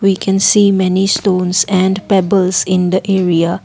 we can see many stones and pebbles in the area.